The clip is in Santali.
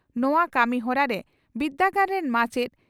ᱱᱚᱣᱟ ᱠᱟᱹᱢᱤ ᱦᱚᱨᱟᱨᱮ ᱵᱤᱨᱫᱟᱹᱜᱟᱲ ᱨᱤᱱ ᱢᱟᱪᱮᱛ